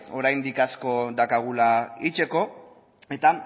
oraindik asko daukagula egiteko eta